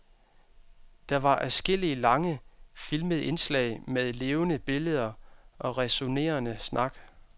Der var adskillige lange, filmede indslag med levende billeder og ræsonnerende snak.